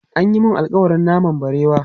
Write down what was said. An yi mun alƙawarin naman barewa.